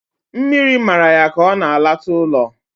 Mmiri mara ya ka o na-alata ulo